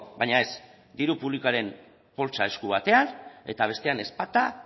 baina ez diru publikoaren poltsa esku batean eta bestean ezpata